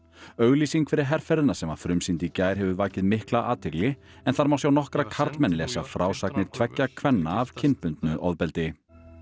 auglýsing fyrir herferðina sem var frumsýnd í gær hefur vakið mikla athygli en þar má sjá nokkra karlmenn lesa frásagnir tveggja kvenna af kynbundnu ofbeldi